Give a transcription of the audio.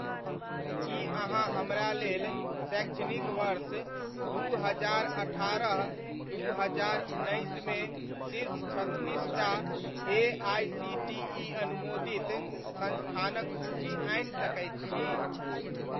कि अहाँ हमरा लेल शैक्षणिक वर्ष दू हजार अठारह दू हजार उन्नैसमे शीर्ष छत्तीसटा एआइसीटीइ अनुमोदित संस्थानक सूचि आनि सकैत छी?